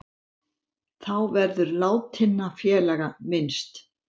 Þá verður látinna félaga minnst